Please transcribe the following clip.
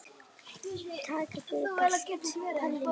Takk fyrir allt, Palli minn.